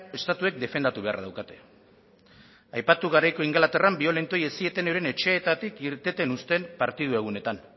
estatuek defendatu beharra daukate aipatu garaiko ingalaterran biolentoei ez zieten euren etxeetatik irteten uzten partidu egunetan